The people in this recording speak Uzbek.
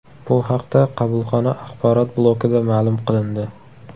Bu haqda qabulxona axborot blokida ma’lum qilindi .